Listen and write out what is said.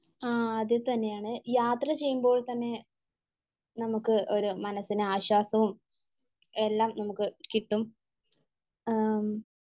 ആഹ് അതുതന്നെയാണ് യാത്ര ചെയ്യുമ്പോൾതന്നെ നമുക്ക് ഒരു മനസ്സിന് ആശ്വാസവും എല്ലാം നമുക്ക് കിട്ടും. അഹ്,